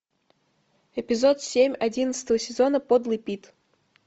эпизод семь одиннадцатого сезона подлый пит